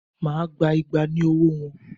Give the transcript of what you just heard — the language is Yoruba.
Máà gba igba ní ọwọ́ wọn!